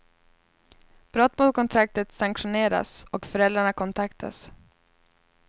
Brott mot kontraktet sanktioneras och föräldrarna kontaktas.